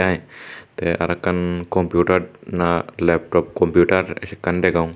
Neh te aro ekkan Computer na laptop computer ekkan degong.